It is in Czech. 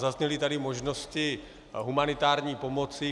Zazněly tady možnosti humanitární pomoci.